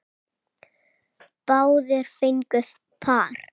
Báðir fengu par.